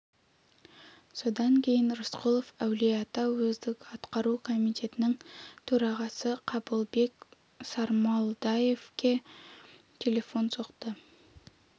содан кейін рысқұлов әулиеата уездік атқару комитетінің төрағасы қабылбек сармолдаевқа телефон соқты